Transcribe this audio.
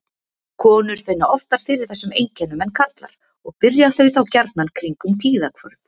Konur finna oftar fyrir þessum einkennum en karlar og byrja þau þá gjarnan kringum tíðahvörf.